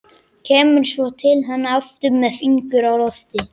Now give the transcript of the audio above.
Kemur svo til hennar aftur með fingur á lofti.